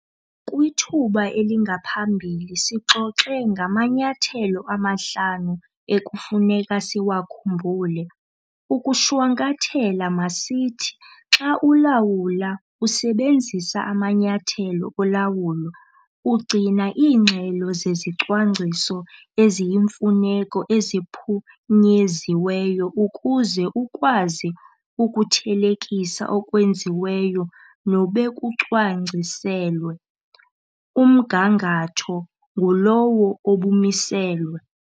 Kwithuba elingaphambili sixoxe ngamanyathelo amahlanu ekufuneka siwakhumbule. Ukuwashwankathela masithi, xa ulawula usebenzisa amanyathelo olawulo - ugcina iingxelo zezicwangciso eziyimfuneko eziphunyeziweyo ukuze ukwazi ukuthelekisa okwenziweyo nobekucwangciselwe, umgangatho ngulowo obumiselwe.